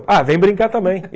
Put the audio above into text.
Ah, vem brincar também.